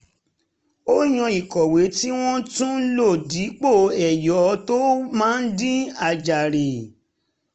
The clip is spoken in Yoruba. ó yàn ìkọ̀wé tí wọ́n tún lò dípò ẹyọ̀ tó máa ń di àjàre